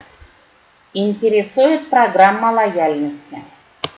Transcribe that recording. интересует программа лояльности